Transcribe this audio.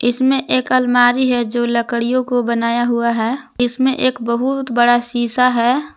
इसमें एक अलमारी है जो लकडिओ को बनाया हुआ है इसमें एक बहुत बड़ा शीशा है।